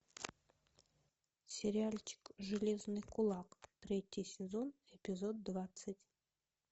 сериальчик железный кулак третий сезон эпизод двадцать